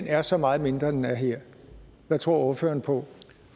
er så meget mindre end den er her hvad tror ordføreren på